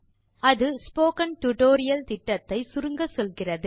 அது spoken tutorial திட்டத்தை சுருங்கச்சொல்கிறது